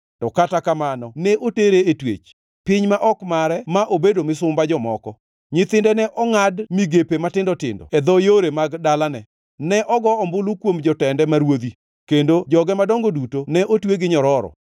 To kata kamano ne otere e twech, piny ma ok mare ma obedo misumba jomoko. Nyithinde ne ongʼad migepe matindo tindo e dho yore mag dalane. Ne ogo ombulu kuom jotende ma ruodhi, kendo joge madongo duto ne otwe gi nyororo.